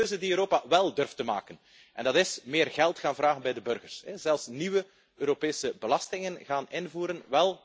Er is één keuze die Europa wel durft te maken, en dat is meer geld gaan vragen aan de burgers en zelfs nieuwe Europese belastingen gaan invoeren.